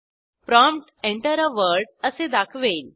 prompt Enter आ word असे दाखवेल